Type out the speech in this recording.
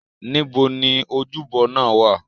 Níbo ni ojúbọ náà wá à?